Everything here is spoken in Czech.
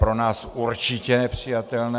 Pro nás určitě nepřijatelné.